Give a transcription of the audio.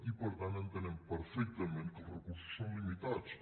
i per tant entenem perfectament que els recursos són limitats